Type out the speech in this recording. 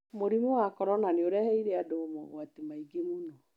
Mũrimũ wa corona nĩ ũreheire andũ mogwati maingĩ mũno.